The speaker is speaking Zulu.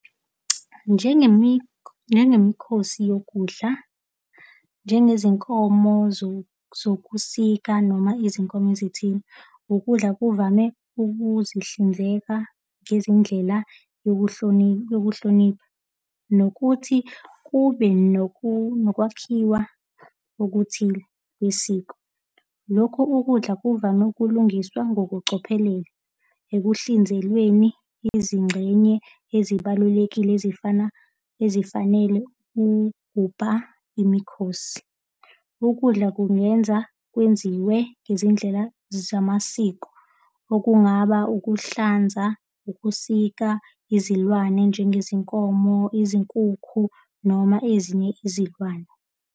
Njengemikhosi yokudla, njengezinkomo zokusika noma izinkomo zethini. Ukudla kuvame ukuzihlinzeka ngezindlela yokuhlonipha, nokuthi kube nokwakhiwa okuthile kwesiko. Lokhu ukudla kuvame ukulungiswa ngokucophelela ekuhlinzelweni izingxenye ezibalulekile ezifana, ezifanele ukugubha emikhosi. Ukudla kungenza kwenziwe ngezindlela zamasiko, okungaba ukuhlanza, ukusika izilwane, njengezinkomo, izinkukhu noma ezinye izilwane.